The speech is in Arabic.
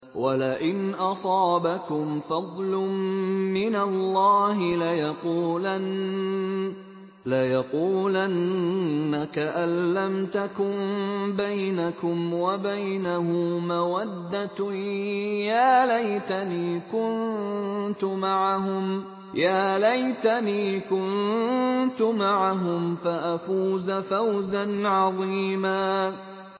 وَلَئِنْ أَصَابَكُمْ فَضْلٌ مِّنَ اللَّهِ لَيَقُولَنَّ كَأَن لَّمْ تَكُن بَيْنَكُمْ وَبَيْنَهُ مَوَدَّةٌ يَا لَيْتَنِي كُنتُ مَعَهُمْ فَأَفُوزَ فَوْزًا عَظِيمًا